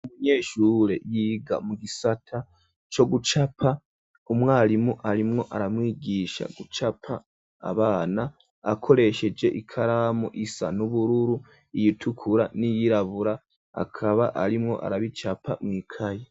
Umunyeshure yiga mu gisata cyo gucapa umwarimu arimwo aramwigisha gucapa abana akoresheje ikaramu isa n'ubururu ,,iyitukura , n'iyirabura akaba arimwo arabicapa mw'ikaye.